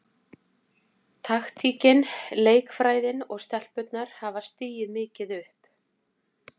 Taktíkin, leikfræðin og stelpurnar hafa stigið mikið upp.